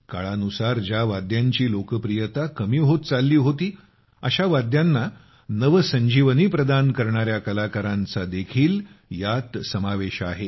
काळानुसार ज्या वाद्यांची लोकप्रियता कमी होत चालली होती अशा वाद्यांना नव संजीवनी प्रदान करणाऱ्या कलाकारांचा देखील यात समावेश आहे